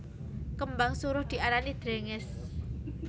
Kembang suruh diarani drèngès